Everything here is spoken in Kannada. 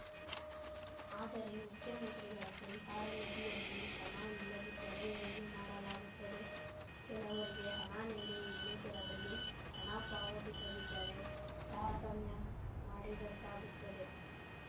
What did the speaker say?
ಆದರೆ ಮುಖ್ಯಮಂತ್ರಿಗಳ ಪರಿಹಾರ ನಿಧಿಯಲ್ಲಿ ಹಣ ಇಲ್ಲದಿದ್ದರೆ ಏನು ಮಾಡಲಾಗುತ್ತದೆ ಕೆಲವರಿಗೆ ಹಣ ನೀಡಿ ಇನ್ನು ಕೆಲವರಿಗೆ ಹಣ ಪಾವತಿಸದಿದ್ದರೆ ತಾರತಮ್ಯ ಮಾಡಿದಂತಾಗುತ್ತದೆ